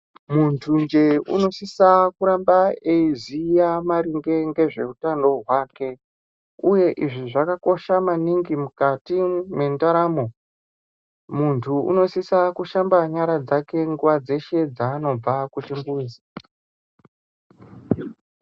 Munthunje unosisa kurambe eiziya maringe ngezveutano hwake uye izvi zvakakosha maningi mukati mendaramo. Munthu unosisa kushamba nyara dzake nguwa dzeshe dzaanobva kuchimbuzi.